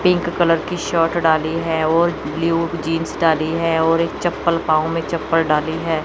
Pink colour की shirt डाली है और ब्लू जींस डाली है और एक चप्पल पांव में चप्पल डाली है।